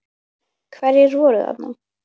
Hverjir voru þarna?